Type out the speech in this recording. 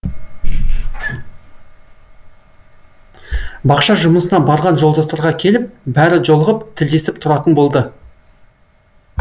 бақша жұмысына барған жолдастарға келіп бәрі жолығып тілдесіп тұратын болды